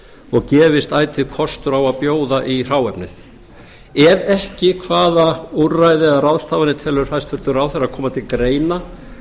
og gefist ætíð kostur á að bjóða í hráefnið ef ekki hvaða úrræði og ráðstafanir telur hæstvirtur ráðherra koma til greina til að